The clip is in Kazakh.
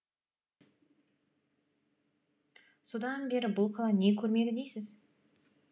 содан бері бұл қала не көрмеді дейсіз